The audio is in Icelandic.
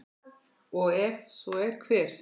og ef svo er, hver?